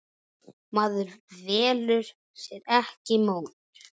Maður velur sér ekki móður.